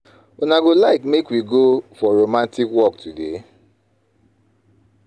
Una go like make wey go for romantic walk today